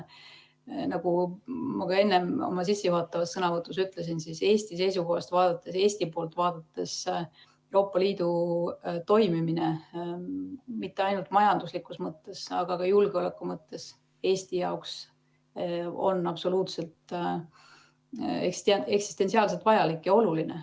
Nagu ma ka oma sissejuhatavas sõnavõtus ütlesin, Eesti seisukohast vaadates on Euroopa Liidu toimimine mitte ainult majanduslikus mõttes, vaid ka julgeoleku mõttes Eesti jaoks absoluutselt eksistentsiaalselt vajalik ja oluline.